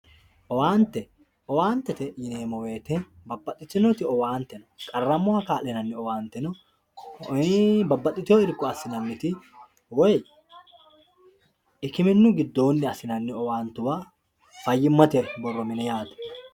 Owaante, owaantete yineemmo woyte babbaxxitinoti owaante no, dhiwamoha kaa'linanni owaante no, ee babbaxxino irko assinanniti woyi hikiminu giddoni assinanni owaantuwa fayyimate borro mine yaate.